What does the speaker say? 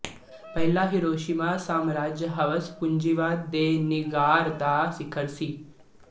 ਪਹਿਲੇ ਹੀਰੋਸ਼ੀਮਾ ਸਾਮਰਾਜੀ ਹਵਸ ਪੂੰਜੀਵਾਦ ਦੇ ਨਿਗਾਰ ਦਾ ਸਿਖਰ ਸੀ